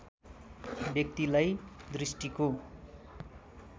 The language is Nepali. व्यक्तिलाई दृष्टिको